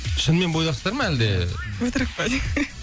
шынымен бойдақсыздар ма әлде өтірік па де